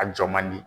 A jɔ man di